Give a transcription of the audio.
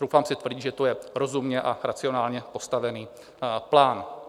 Troufám si tvrdit, že to je rozumně a racionálně postavený plán.